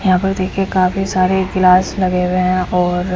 यहाँ पर देखिए काफी सारे ग्लास लगे हुए हैं और--